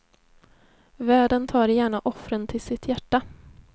Världen tar gärna offren till sitt hjärta.